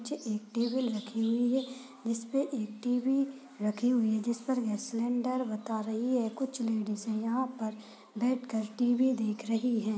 नीचे एक टेबल रखी हुई है जिस पे एक टी.वी. रखी हुई है जिस पर गैस सिलिंडर बता रही है कुछ लेडिसे यहाँ पर बैठकर टी.वी. देख रही है।